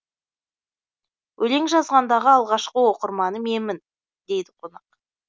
өлең жазғандағы алғашқы оқырманы менмін дейді қонақ